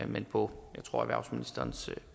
men på tror jeg erhvervsministerens